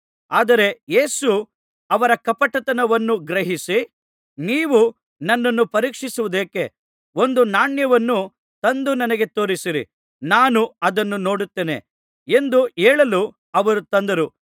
ಆದರೆ ಯೇಸು ಅವರ ಕಪಟತನವನ್ನು ಗ್ರಹಿಸಿ ನೀವು ನನ್ನನ್ನು ಪರೀಕ್ಷಿಸುವುದೇಕೆ ಒಂದು ನಾಣ್ಯವನ್ನು ತಂದು ನನಗೆ ತೋರಿಸಿರಿ ನಾನು ಅದನ್ನು ನೋಡುತ್ತೇನೆ ಎಂದು ಹೇಳಲು ಅವರು ತಂದರು